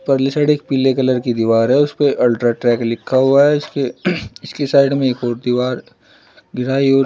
परले साइड पीले कलर की दीवार है उसपे अल्ट्राट्रैक लिखा हुआ है इसकी साइड में एक और दीवार गिराई और --